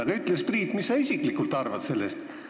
Aga ütle siis, Priit, mis sa isiklikult sellest arvad.